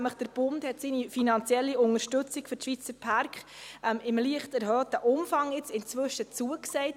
Der Bund hat seine finanzielle Unterstützung für die Schweizer Pärke in leicht erhöhtem Umfang inzwischen zugesagt.